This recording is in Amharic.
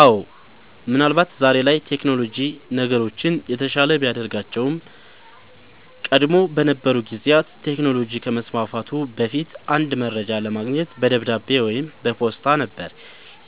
አወ ምን አልባት ዛሬ ላይ ቴክኖሎጅ ነገሮችን የተሻለ ቢያደርጋቸውም ቀደም በነበሩ ጊዜያት ቴክኖሎጅ ከመስፋፋቱ በፊት አንድ መረጃ ለማግኘት በደብዳቤ ወይም በፖስታ ነበር